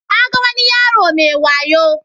Na ga wani yaro mai wayo.